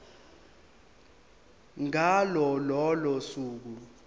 ngalo lolo suku